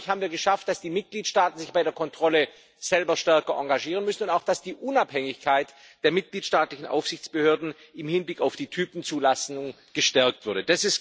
Damit, glaube ich, haben wir es geschafft, dass die Mitgliedstaaten sich bei der Kontrolle selber stärker engagieren müssen und auch, dass die Unabhängigkeit der mitgliedstaatlichen Aufsichtsbehörden im Hinblick auf die Typzulassung gestärkt wurde.